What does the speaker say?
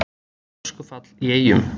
Öskufall í Eyjum